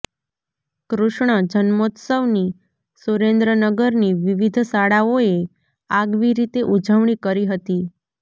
કૃષ્ણ જન્મોત્સવની સુરેન્દ્રનગરની વિવિધ શાળાઓએ આગવી રીતે ઉજવણી કરી હતી